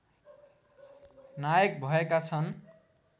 नायक भएका छन्